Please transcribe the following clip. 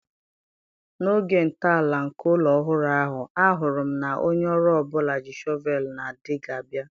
N'oge ntọala nke ụlọ ọhụrụ ahụ, ahụrụ m na onye ọrụ ọ bụla ji shọvel na Dịgga bịa